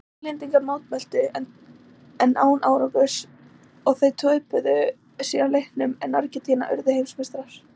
Englendingar mótmæltu en án árangurs og þeir töpuðu síðan leiknum en Argentína urðu heimsmeistarar.